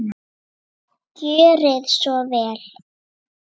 Gjörið svo vel!